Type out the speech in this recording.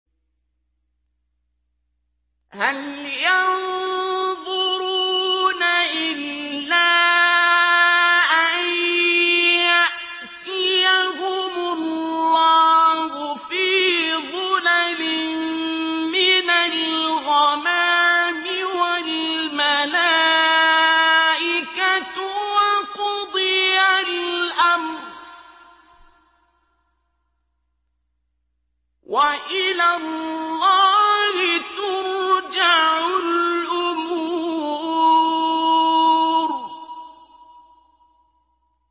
هَلْ يَنظُرُونَ إِلَّا أَن يَأْتِيَهُمُ اللَّهُ فِي ظُلَلٍ مِّنَ الْغَمَامِ وَالْمَلَائِكَةُ وَقُضِيَ الْأَمْرُ ۚ وَإِلَى اللَّهِ تُرْجَعُ الْأُمُورُ